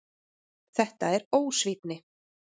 Þetta er ósvífni.